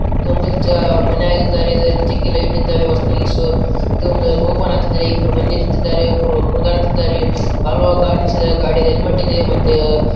ಒಂದಿಷ್ಟು ಮನೆಯಾಗಿದ್ದಾರೆ ಇದರಲ್ಲಿ ಜಗ್ಗಿ ಲೈಟ್‌ ಇದ್ದಾವೆ. ಹೊಸದಾಗಿ ಓಪನ್‌ ಆಗ್ತಾ ಇದೆ ಇಬ್ಬರು ಜನರು ನಿಂತಿದ್ದಾರೆ ಒಬ್ಬರು ಕುಣಿಯುತ್ತಿದ್ದಾರೆ ಹಲವಾರು ಗಾಡಿ ನಿಲ್ಲಿಸಿದ್ದಾರೆ ಗಾಡಿಲಿ ಹೆಲ್ಮೆಟ್ ಇದೆ ಮತ್ತೆ.